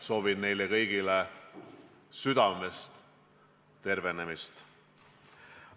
Soovin neile kõigile südamest tervenemist!